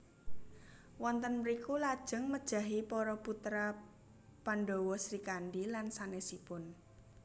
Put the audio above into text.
Wonten mriku lajeng mejahi para putra Pandhawa Srikandi lan sanèsipun